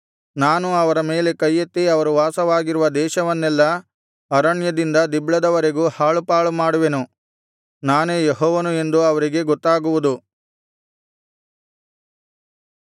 ನಾನು ಅವರ ಮೇಲೆ ಕೈಯೆತ್ತಿ ಅವರು ವಾಸವಾಗಿರುವ ದೇಶವನ್ನೆಲ್ಲಾ ಅರಣ್ಯದಿಂದ ದಿಬ್ಲದವರೆಗೂ ಹಾಳುಪಾಳುಮಾಡುವೆನು ನಾನೇ ಯೆಹೋವನು ಎಂದು ಅವರಿಗೆ ಗೊತ್ತಾಗುವುದು